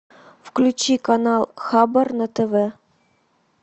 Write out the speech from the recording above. включи канал хабар на тв